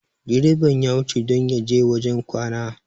direban ya wuce don ya je wajen kwana